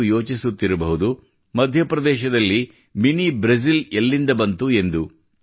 ನೀವು ಯೋಚಿಸುತ್ತಿರಬಹುದು ಮಧ್ಯಪ್ರದೇಶದಲ್ಲಿ ಮಿನಿ ಬ್ರೆಜಿಲ್ ಎಲ್ಲಿಂದ ಬಂತು ಎಂದು